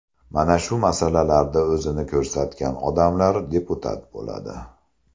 Mana shu masalalarda o‘zini ko‘rsatgan odamlar deputat bo‘ladi”.